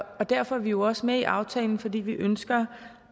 og derfor er vi jo også med i aftalen fordi vi ønsker